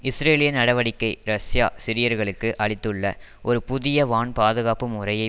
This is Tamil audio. இஸ்ரேலிய நடவடிக்கை ரஷ்யா சிரியர்களுக்கு அளித்துள்ள ஒரு புதிய வான் பாதுகாப்பு முறையை